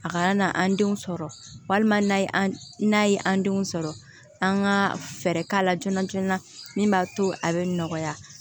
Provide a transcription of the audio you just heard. A kana na an denw sɔrɔ walima n'a ye an denw sɔrɔ an ka fɛɛrɛ k'a la joona joona min b'a to a bɛ nɔgɔya